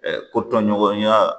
Ko tɔɲɔgɔnya